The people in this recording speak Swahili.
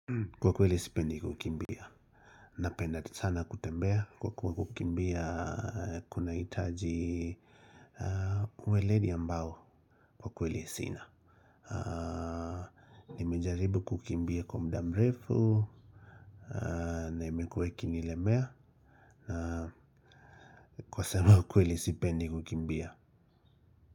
Kwa kweli sipendi kukimbia. Napenda sana kutembea kwa kuwa kukimbia kuna hitaji uweledi ambao kwa kweli sina. Nimejaribu kukimbia kwa mdamrefu na imekuwe ikinilemea kwa sema ukweli sipendi kukimbia.